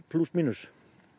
plús mínus